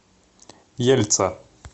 ельца